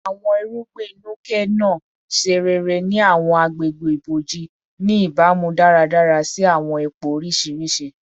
Awọn irugbin Nuke-Noh ṣe rere ni awọn agbegbe iboji, ni ibamu daradara si awọn ipo oriṣiriṣi